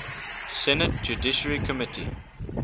senate judiciary committee